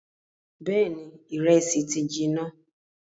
Bẹẹni ìrẹsì ti jiná